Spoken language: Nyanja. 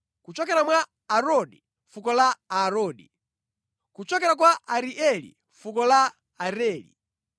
kuchokera mwa Arodi, fuko la Aarodi; kuchokera mwa Arieli, fuko la a Areli.